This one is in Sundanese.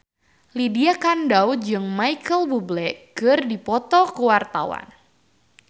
Lydia Kandou jeung Micheal Bubble keur dipoto ku wartawan